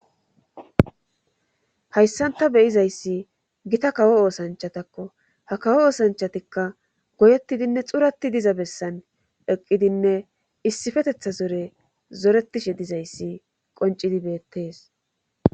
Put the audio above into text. Hayssan ta beyizayssi gita kawo oosanchatakko ha kawo oosanchatikka goyettidinne xurati diza bessan eqqidinne issifetetha zore zoretishe dizayssi qoncidi beettes.